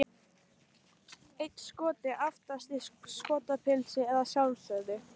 Einn Skoti aftast, í Skotapilsi að sjálfsögðu!